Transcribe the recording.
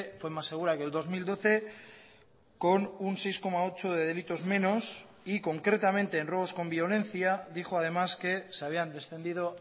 fue más segura que el dos mil doce con un seis coma ocho de delitos menos y concretamente en robos con violencia dijo además que se habían descendido